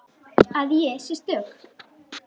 Að ég sé stök.